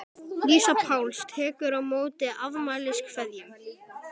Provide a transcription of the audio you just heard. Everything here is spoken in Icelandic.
Lísa Páls tekur á móti afmæliskveðjum.